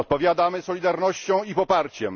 Odpowiadamy solidarnością i poparciem.